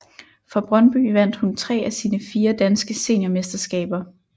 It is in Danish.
For Brøndby vandt hun tre af sine fire danske seniormesterskaber